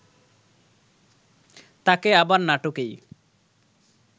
তাকে আবার নাটকেই